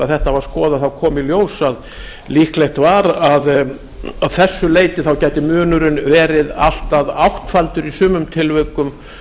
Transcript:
þetta var skoðað kom í ljós að líklegt var að að þessu leyti gæti munurinn verið allt að áttfaldur í sumum tilvikum